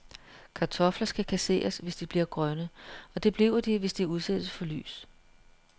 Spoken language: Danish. Kartofler skal kasseres, hvis de bliver grønne, og det bliver de, hvis de udsættes for lys.